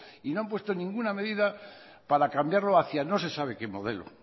y no han puesto ninguna medida para cambiarlo hacia no se sabe qué modelo